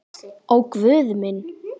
Ó Guð minn.